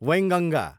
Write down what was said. Wainganga